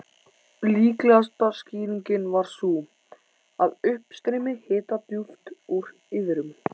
Líklegasta skýringin var sú, að uppstreymi hita djúpt úr iðrum